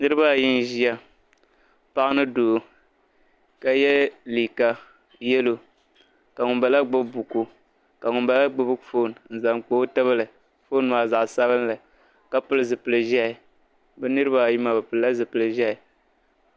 Dingbaari vwuntaŋa n ʒaya ŋɔ ka paɣiba anahi ʒa di gbuni paɣibi maa pɛlila chinchina ka paɣisɔ zaŋ ɔnuu niɔ gbaa bɛnshaɣu di ngbaari wum tanŋ maa .ka mɔri be dini.